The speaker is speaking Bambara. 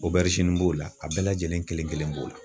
b'o la a bɛɛ lajɛlen kelen kelen b'o la.